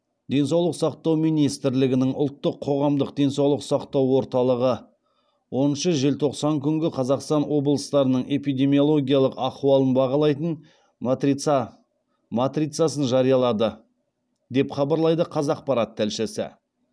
денсаулық сақтау министрлігінің ұлттық қоғамдық денсаулық сақтау орталығы оныншы желтоқсан күнгі қазақстан облыстарының эпидемиологиялық ахуалын бағалайтын матрицасын жариялады деп хабарлайды қазақпарат тілшісі